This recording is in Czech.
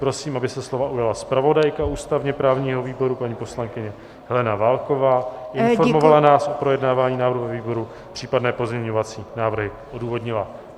Prosím, aby se slova ujala zpravodajka ústavně-právního výboru, paní poslankyně Helena Válková, informovala nás o projednávání návrhu ve výboru, případně pozměňovací návrhy odůvodnila.